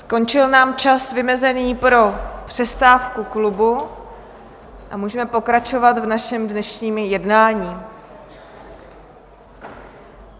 Skončil nám čas vymezený pro přestávku klubu a můžeme pokračovat v našem dnešním jednání.